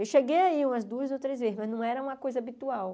Eu cheguei aí umas duas ou três vezes, mas não era uma coisa habitual.